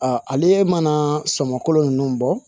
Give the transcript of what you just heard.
ale mana sɔmolo ninnu bɔ